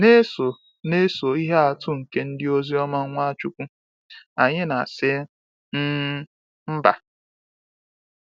Na-eso Na-eso ihe atụ nke ndịozi Nwachukwu, anyị na asi um mba.